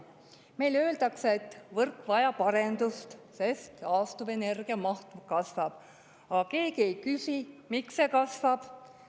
Meile öeldakse, et võrk vajab arendust, sest taastuvenergia maht kasvab, aga keegi ei küsi, miks see kasvab.